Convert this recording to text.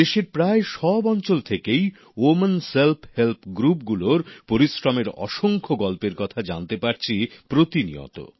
দেশের প্রায় সব অঞ্চল থেকেই মহিলাদের স্বনির্ভর গোষ্ঠীগুলোর পরিশ্রমের অসংখ্য গল্পের কথা জানতে পারছি প্রতিনিয়ত